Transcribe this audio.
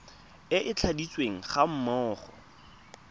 e e tladitsweng ga mmogo